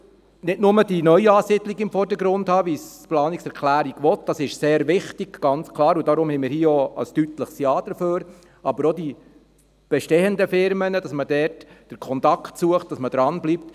Man muss nicht nur die Neuansiedlungen in den Vordergrund stellen, wie es die Planungserklärung will – diese sind sehr wichtig, deshalb stimmen wir auch deutlich Ja – sondern man muss auch den Kontakt zu den bestehenden Unternehmen suchen und dranbleiben.